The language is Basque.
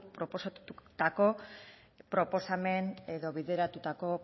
proposatutako proposamen edo bideratutako